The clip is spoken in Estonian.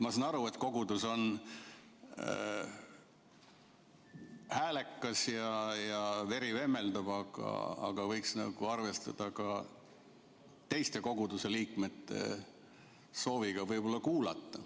Ma saan aru, et kogudus on häälekas ja veri vemmeldab, aga võiks arvestada ka teiste koguduse liikmete sooviga ettekannet kuulata.